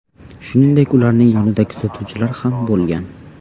Shuningdek, ularning yonida kuzatuvchilar ham bo‘lgan.